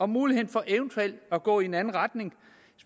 muligheden for eventuelt at gå i en anden retning